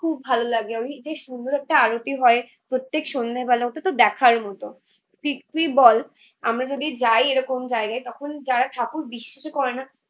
খুব ভালো লাগে। আমি যে সুন্দর একটা আরতি হয় প্রত্যেক সন্ধ্যে বেলা ওটাতো দেখারই মতো। বল আমরা যদি যাই এরকম জায়গায় তখন যারা ঠাকুর বিশ্বাসই করে না